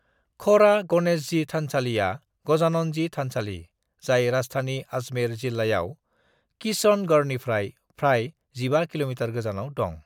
खोड़ा गणेश जी थानसालिया गजानन जी थानसालि जाय राजस्थाननि अजमेर जिल्लायाव किशनगढ़निफ्राय फ्राय 15 कि.मि. गोजानाव दं।